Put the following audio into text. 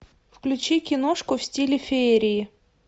включи киношку в стиле феерии